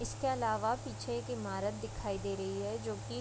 इसके अलावा पीछे एक इमारत दिखाई दे रही है जो कि --